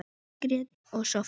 Margrét og Soffía.